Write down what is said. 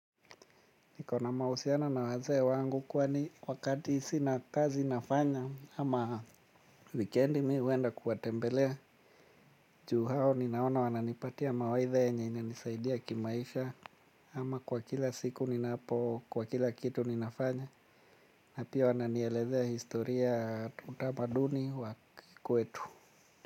Nikona mahusiano na wazee wangu kwani wakati sina kazi nafanya ama weekendi mi huenda kuwatembelea. Juu hao ninaona wananipatia mawaitha yenye inanisaidia kimaisha ama kwa kila siku ninaapo kwa kila kitu ninafanya. Napia wananielezea historia utamaduni wa kikwetu.